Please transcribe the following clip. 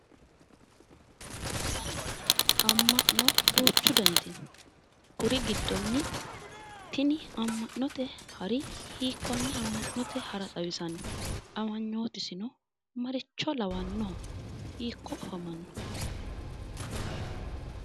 Ama'no duuchu daniti no kuri giddoni tini ama'note hari hiikonne ama'note hara xawisanno? Qmanyootisino maricho lawannoho hiikko afamanno?